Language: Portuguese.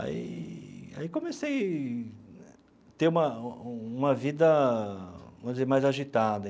Aí aí comecei a ter uma uma vida, vamos dizer, mais agitada.